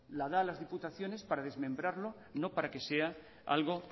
la da a las diputaciones para desmembrarlo y no para que sea algo